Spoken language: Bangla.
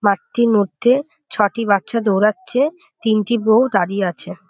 মাঠটির মধ্যে ছটি বাচ্চা দৌড়াচ্ছে তিনটি বৌ দাঁড়িয়ে আছে।